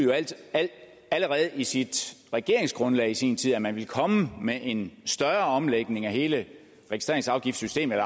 allerede i sit regeringsgrundlag i sin tid bebudede at man ville komme med en større omlægning af hele registreringsafgiftssystemet